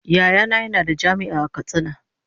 Yayana yana da jami'a a katsina.